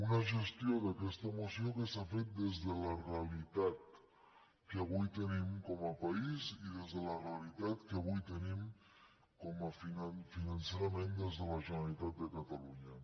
una gestió d’aquesta moció que s’ha fet des de la re·alitat que avui tenim com a país i des de la realitat que avui tenim financerament des de la generalitat de catalunya